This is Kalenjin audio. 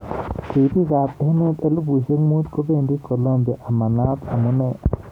Ribik ab emet elibushek mut kobendi Kolumbia ama naat amune.